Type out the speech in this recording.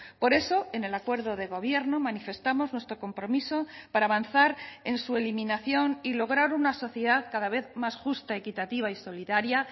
por eso en el acuerdo de gobierno manifestamos nuestro compromiso para avanzar en su eliminación y lograr una sociedad cada vez más justa equitativa y solidaria